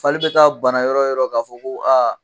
Fali bɛ taa bana yɔrɔ o yɔrɔ k'a fɔ ko aa